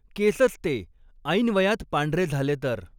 केसच ते ऐनवयात पांढरे झाले तर